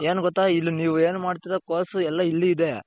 ಏನು ಗೊತ್ತಾ ಇಲ್ಲಿ ನೀವು ಏನು ಮಾಡ್ತಿರೋ course ಎಲ್ಲಾ ಇಲ್ಲಿ ಇದೆ.